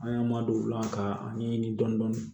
An y'an ma don o la k'a ɲɛɲini dɔɔni